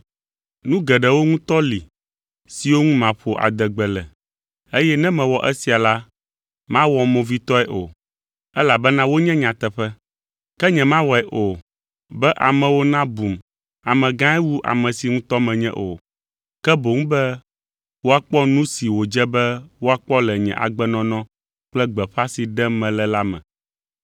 Nu geɖewo ŋutɔ li siwo ŋu maƒo adegbe le, eye ne mewɔ esia la, mawɔm movitɔe o; elabena wonye nyateƒe. Ke nyemawɔe o, be amewo nabum amegãe wu ame si ŋutɔ menye o, ke boŋ be woakpɔ nu si wòdze be woakpɔ le nye agbenɔnɔ kple gbeƒã si ɖem mele la me.